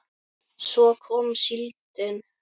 Svo kom síldin.